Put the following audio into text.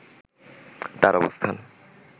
তার অবস্থান